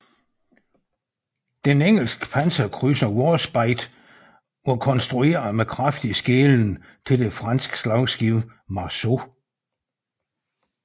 Den engelske panserkrydser Warspite var konstrueret med kraftig skelen til det franske slagskib Marceau